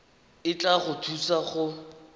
e tla go thusa go